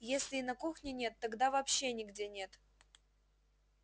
если и на кухне нет тогда вообще нигде нет